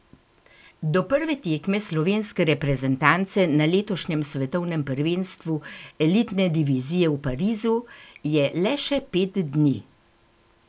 Do prve tekme slovenske reprezentance na letošnjem svetovnem prvenstvu elitne divizije v Parizu je le še pet dni.